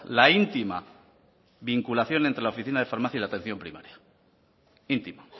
la íntima vinculación entre la oficina de farmacia y la atención primaria intima